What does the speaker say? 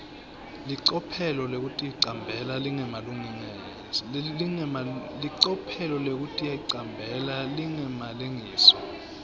licophelo lekuticambela lingemalengiso